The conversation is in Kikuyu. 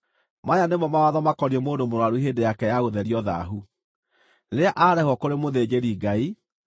“Maya nĩmo mawatho makoniĩ mũndũ mũrũaru hĩndĩ yake ya gũtherio thaahu, rĩrĩa aarehwo kũrĩ mũthĩnjĩri-Ngai: